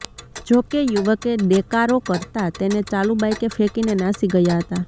જો કે યુવકે દેકારો કરતાં તેને ચાલુ બાઇકે ફેકીને નાસી ગયા હતા